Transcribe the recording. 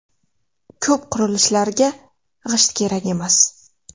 Ko‘p qurilishlarga g‘isht kerak emas.